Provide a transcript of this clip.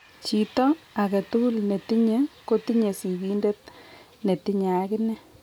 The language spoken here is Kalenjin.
Chito agetugul netinye kotinye sigindet netinye agine